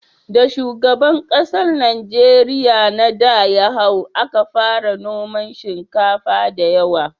Da shugaban ƙasar Najeriya na da ya hau, a ka fara noman shinkafa da yawa